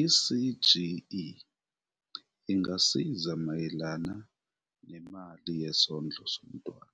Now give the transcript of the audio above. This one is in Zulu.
I-CGE ingasiza mayelana nemali yesondlo somntwana,